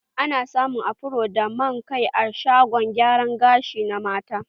A na samun afron da man kai a shagon gyara gashi na mata.